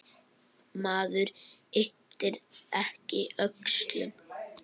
Maður ypptir ekki öxlum.